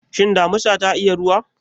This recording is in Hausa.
Shin damisa ta iya ruwa?